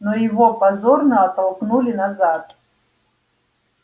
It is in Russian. но его позорно оттолкнули назад